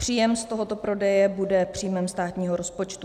Příjem z tohoto prodeje bude příjmem státního rozpočtu.